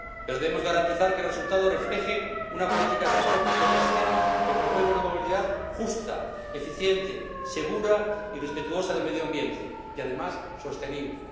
Pero debemos garantizar que el resultado refleje una política de transportes terrestres que promueva una movilidad justa, eficiente, segura y respetuosa del medio ambiente y, además, sostenible.